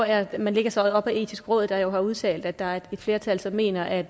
er at man lægger sig op ad det etiske råd der har udtalt at der er et flertal som mener at